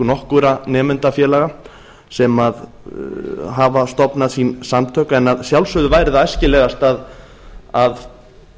nokkurra nemendafélaga sem hafa stofnað sín samtök en að sjálfsögðu væri það æskilegast að